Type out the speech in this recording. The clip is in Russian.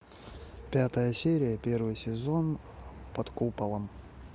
пятая серия первый сезон под куполом